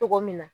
Togo min na